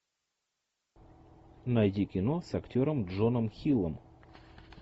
найди кино с актером джоном хиллом